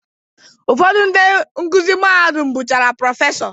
Ụfọdụ ndị nkuzi mahadum bụchazi Prọfesọ